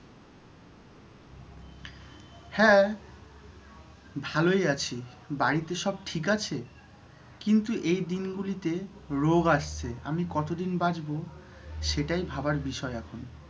হ্যাঁ ভালই আছি বাড়িতে সব ঠিক আছে? কিন্তু এই দিনগুলিতে রোগ আসছে আমি কতদিন বাঁচব সেটাই ভাবার বিষয় এখন।